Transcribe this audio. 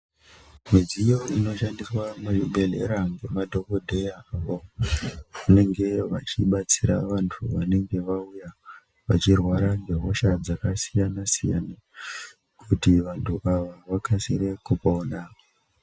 Midziyo inoshandiswa muzvibhehleya ngemadhokodheyawo vanenge vachibatsira vantu vanenge vauya vachirwara nehosha dzakasiyanasiyana kuti vantu ava vakasire kupona.